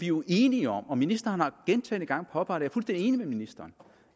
jo enige om og ministeren har gentagne gange påpeget det er enig med ministeren